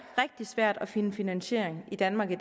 rigtig svært at finde finansiering i danmark i